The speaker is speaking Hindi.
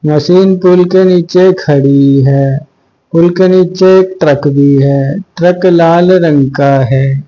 माशिन पूल के नीचे खड़ी है पूल के नीचे एक ट्रक भी है ट्रक लाल रंग का है।